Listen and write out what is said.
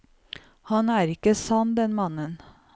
Han er ikke sann, den mannen.